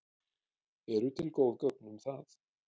Eru til góð gögn um það?